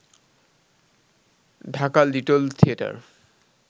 Dhaka Little theatre